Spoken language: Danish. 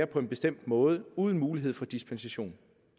på en bestemt måde uden mulighed for dispensation